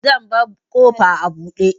Zan bar ƙofa a buɗe.